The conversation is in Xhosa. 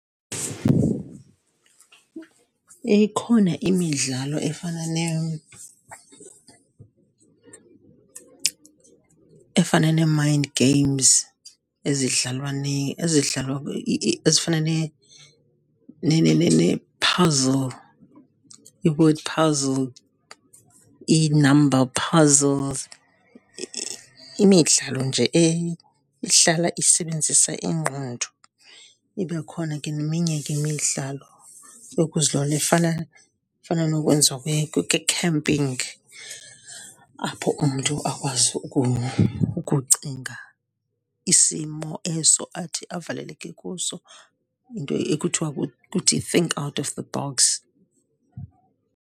Ikhona imidlalo efana efana nee-mind games ezidlalwa ezidlalwa ezifana puzzle, ii-word puzzle, i-number puzzles, imidlalo nje ehlala isebenzisa ingqondo. Ibe khona ke neminye ke imidlalo efana, efana nokwenziwa kwe-camping apho umntu akwazi ukucinga isimo eso athi avaleleke kuso, yinto ekuthwa kuthi think out of the box.